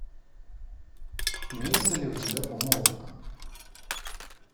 имеется ли у тебя помолвка